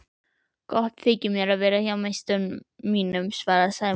Gott þykir mér að vera hjá meistara mínum svaraði Sæmundur.